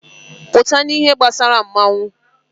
Pụta n'ihe gbasara mmọnwụ!